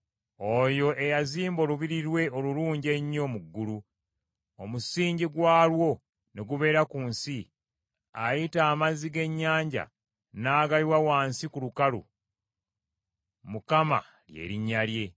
oyo eyazimba olubiri lwe olulungi ennyo mu ggulu, omusingi gwalwo ne gubeera ku nsi, ayita amazzi g’ennyanja, n’agayiwa wansi ku lukalu, Mukama lye linnya lye.